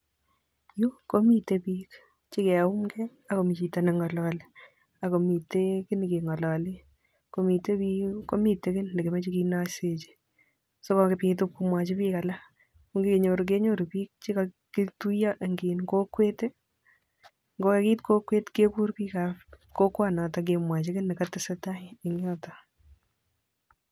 Yu komitei biik chekeuumkei ak komi chito ne ngalali ak komite kiy ne kengalale, komite biik komite kiy nekemoche kenoisechi sokobit ip komwachi biik alak, ko ngenyor kenyoru biik che katuiyo eng kokwet ii, ngo ka kiit kokwet kekur biikab kokwonoto kemwachi kiy nekatesetai eng yoto.